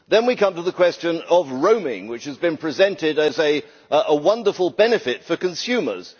Then we come to the question of roaming, which has been presented as a wonderful benefit for consumers.